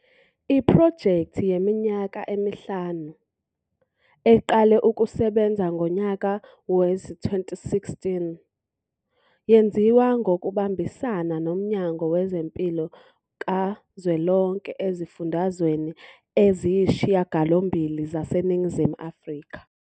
Iphrojekthi yeminyaka emihlanu, eqale ukusebenza ngonyaka wezi-2016, yenziwa ngokubambisana noMnyango Wezempilo Kazwelonke ezifundazweni eziyisishiyagalombili zaseNingizimu Afrika.